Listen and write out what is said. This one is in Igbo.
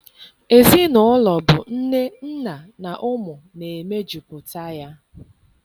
Ezinaụlọ bụ nne, nna na ụmụ na emejuputa ya.